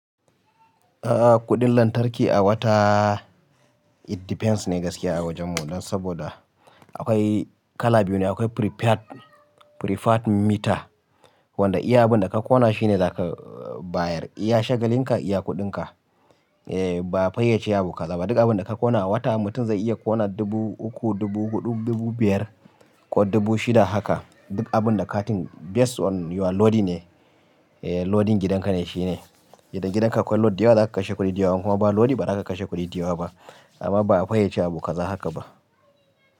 A'a kuɗin lantarki a wata it depends ne gaskiya a wajen mu dan saboda akwai kala biyu ne. Akwai prepaid meter wanda iya abin da ka kona shine za ka bayar, iya shagalin ka iya kuɗin ka ba a faye ce abu kaza. Duk abin da ka kona a wata mutum zai iya kona dubu uku, dubu huɗu, dubu biyar ko dubu shida haka. Duk abin da katin based on your loading ne, loading gidan ka ne shine. Idan gidan ka akwai load da yawa za ka kashe kuɗi da yawa kuma ba load ba za ka kashe kuɗi da yawa ba amma ba a faye ce abu kaza haka ba.